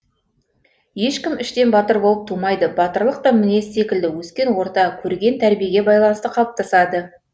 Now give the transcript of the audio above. ешкім іштен батыр болып тумайды батырлық та мінез секілді өскен орта көрген тәрбиеге байланысты қалыптасады